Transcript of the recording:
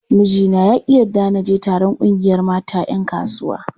Mijina ya ƙi yarda na je taron ƙungiyar mata 'yan kasuwa.